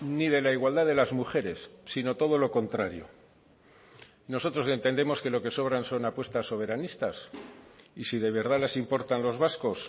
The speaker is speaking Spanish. ni de la igualdad de las mujeres sino todo lo contrario nosotros entendemos que lo que sobran son apuestas soberanistas y si de verdad les importan los vascos